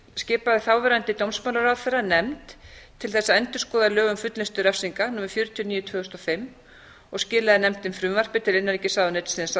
skipaði þáverandi dómsmálaráðherra nefnd til þess að endurskoða lög um fullnustu refsinga númer fjörutíu og níu tvö þúsund og fimm og skilaði nefndin frumvarpi til innanríkisráðuneytisins árið